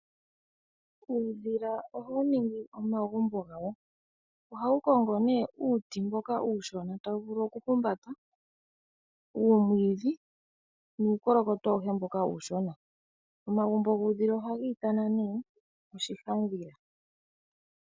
Uudhila ohawu ningi omagumbo gawo. Ohawu kongo uuti mboka uushona tawu vulu okuhumbata uumwidhi nuukolokoto awuhe mboka uushona. Omagumbo guudhila ohaga ithanwa oshihandhila.